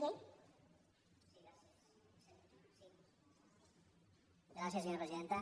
gràcies senyora presidenta